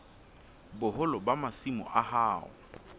boholo ba masimo a hao